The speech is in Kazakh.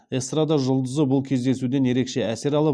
эстрада жұлдызы бұл кездесуден ерекше әсер алып